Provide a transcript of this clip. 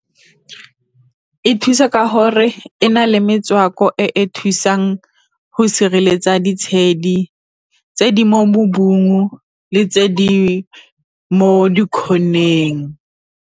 E thusa ka gore e na le metswako e e thusang go sireletsa ditshedi, tse di mo le tse di mo di-corner-eng.